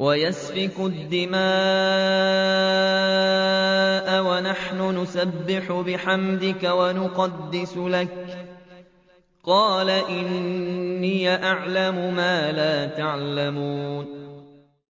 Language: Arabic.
وَيَسْفِكُ الدِّمَاءَ وَنَحْنُ نُسَبِّحُ بِحَمْدِكَ وَنُقَدِّسُ لَكَ ۖ قَالَ إِنِّي أَعْلَمُ مَا لَا تَعْلَمُونَ